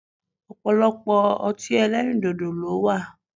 Ọ̀pọ̀lọpọ̀ ọtí ẹlẹ́rìndòdò ló wà